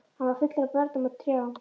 Hann var fullur af börnum og trjám.